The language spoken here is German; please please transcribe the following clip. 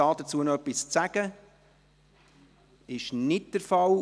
– Das ist nicht der Fall.